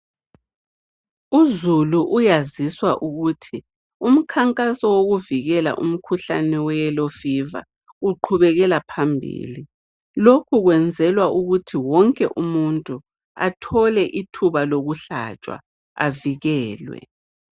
Uzulu uyazwiswa ukuthi umkhankaso wokuvikela umkhuhlane weyellow fever uqhubekela phambili, lokhu kwenzelwa ukuthi wonke umuntu athole ithuba lokuhlatshwa avikelwe.